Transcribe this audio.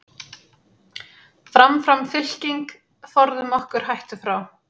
Fram, fram fylking, forðum okkur hættu frá.